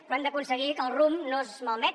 però hem d’aconseguir que el rumb no es malmeti